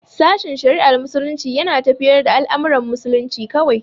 Sashen shari'ar Muslunci yana tafiyar da al'amuran musulunci kawai.